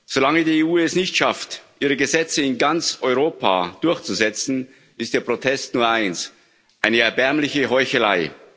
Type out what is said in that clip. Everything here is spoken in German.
Solange die EU es nicht schafft, ihre Gesetze in ganz Europa durchzusetzen, ist der Protest nur eins eine erbärmliche Heuchelei.